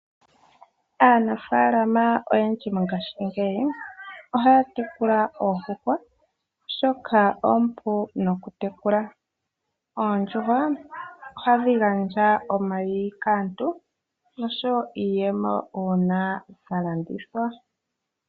Aanafaalama oyendji mongashingeyi ohaya tekulwa oondjuhwa, oshoka oompu nokutekulwa. Oondjuhwa ohadhi gandja omayi kaantu noshowoo iiyemo uuna dha landithwa.